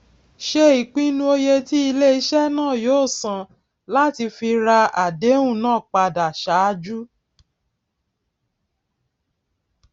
se ìpinu oye tí iléise náà yóó san láti fi ra àdéhùn náà padà sáájú